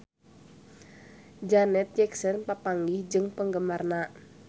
Janet Jackson papanggih jeung penggemarna